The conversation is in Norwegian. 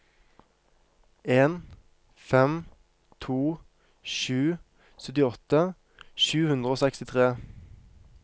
en fem to sju syttiåtte sju hundre og sekstitre